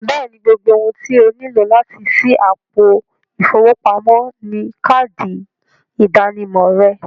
Bẹ́ẹ̀ni, gbogbo òhun tí ọ níló láti ṣí àpò ifowópamọ̀ ni káàdì ìdànìmọ̀ rẹ̀